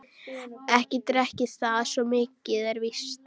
Ekki drekk ég það, svo mikið er víst.